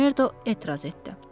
Makmerdo etiraz etdi.